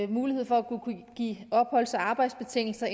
mulighed for at kunne give opholds og arbejdstilladelse